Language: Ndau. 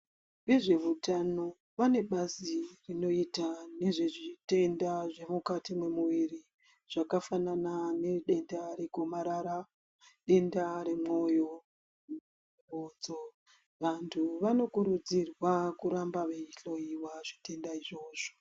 Vezve utano vane bazi rinoita nezvezvitenda zvemukati mwemwiri zvakafanana nedenda re gomarara ,denda remwoyo ,vanhu vanokurudzirwa kuramba veihloyiwa zvitenda izvovzo.